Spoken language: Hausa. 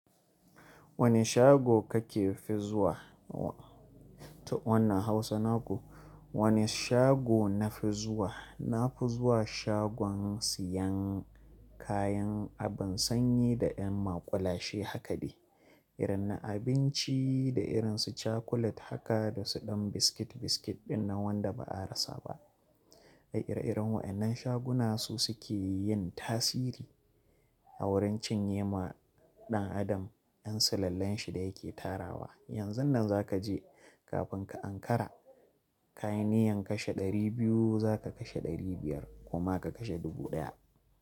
Wane shago kake fi zuwa? Ta wannan Hausa naku. Wane shago na fi zuwa? Na fi zuwa shagon siyan kayan abin sanyi da yan maƙulashe haka ne, irin na abinci da irin su cakulet haka da su ɗan biskit-biskit ɗin na wanda ba a rasa ba. Ai ire-iren waɗannan shaguna su suke yin tasiri a wurin cinye ma ɗan adam yan sulallen shi da yake tarawa. Yanzun nan za ka je kafin ka Ankara, ka yi niyyan kashe ɗari biyu za ka kashe ɗari biyar kuma ka kashe dubu ɗaya.